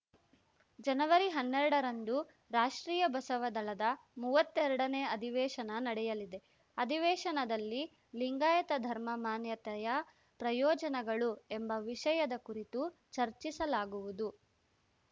ಜನವರಿಹನ್ನೆರಡರಂದು ರಾಷ್ಟ್ರೀಯ ಬಸವ ದಳದ ಮೂವತ್ತೆರಡನೇ ಅಧಿವೇಶನ ನಡೆಯಲಿದೆ ಅಧಿವೇಶನದಲ್ಲಿ ಲಿಂಗಾಯತ ಧರ್ಮ ಮಾನ್ಯತೆಯ ಪ್ರಯೋಜನಗಳು ಎಂಬ ವಿಷಯದ ಕುರಿತು ಚರ್ಚಿಸಲಾಗುವುದು